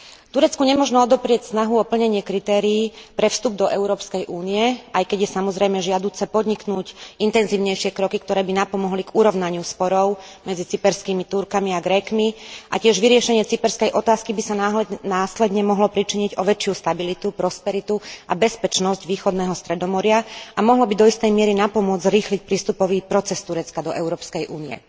Turecku nemožno odoprieť snahu o plnenie kritérií na vstup do Európskej únie, aj keď je samozrejme žiaduce podniknúť intenzívnejšie kroky, ktoré by pomohli urovnaniu sporov medzi cyperskými Turcami a Grékmi, a vyriešenie cyperskej otázky by sa následne mohlo pričiniť tiež o väčšiu stabilitu, prosperitu a bezpečnosť východného Stredomoria a mohlo by do istej miery napomôcť zrýchliť prístupový proces Turecka do Európskej únie.